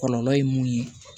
Kɔlɔlɔ ye mun ye